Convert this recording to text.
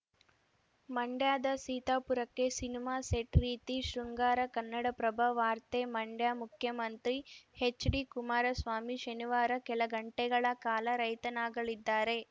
ಮಂಡ್ಯದ ಸೀತಾಪುರಕ್ಕೆ cinema set ರೀತಿ ಶೃಂಗಾರ ಕನ್ನಡಪ್ರಭ ವಾರ್ತೆ ಮಂಡ್ಯ ಮುಖ್ಯಮಂತ್ರಿ ಎಚ್‌ಡಿಕುಮಾರಸ್ವಾಮಿ ಶನಿವಾರ ಕೆಲಗಂಟೆಗಳ ಕಾಲ ರೈತನಾಗಲಿದ್ದಾರೆ